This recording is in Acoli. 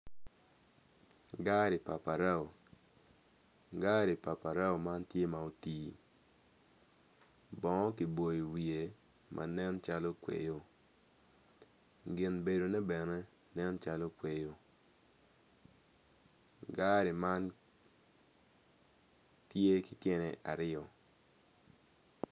Gari pa parao gari pa parao man tye ma oti bongo giboyo wiye ma nen calo kweyo gin bedone bene nen calo kweyo gari man tye ki tyene aryo.